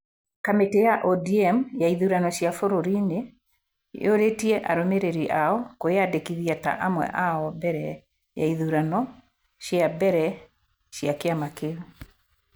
Kamĩtĩ ya ODM ya ithurano cia bũrũri nĩ ĩũrĩtie arũmĩrĩri ao kwĩyandĩkithia ta amwe ao mbere ya ithurano cia mbere cia kĩama kĩu.